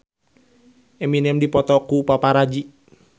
Eminem dipoto ku paparazi